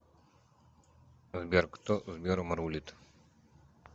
сбер кто сбером рулит